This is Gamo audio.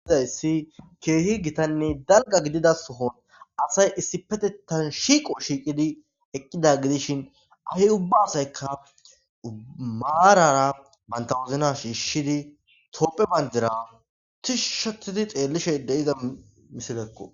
ididayssi keehi gitanne dalga gidida sohon asay issi petettan shiiqo shiiqidi eqqida gidishin ahe ubba asayka maarara bantawozna shiishshidi toopphe bandira tishushatidi xeellishe de7iza misilekko